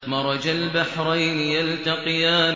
مَرَجَ الْبَحْرَيْنِ يَلْتَقِيَانِ